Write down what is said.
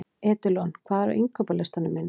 Edilon, hvað er á innkaupalistanum mínum?